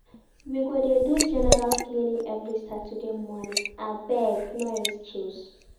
We go dey do general cleaning every Saturday morning, abeg no excuse.